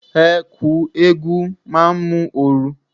Ẹ̀ẹ̀ku eégún máa mú ooru.